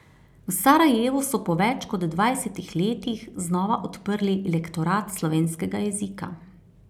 V Sarajevu so po več kot dvajsetih letih znova odprli lektorat slovenskega jezika.